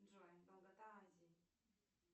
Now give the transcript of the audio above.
джой долгота азии